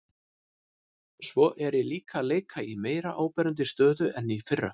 Svo er ég líka að leika í meira áberandi stöðu en í fyrra.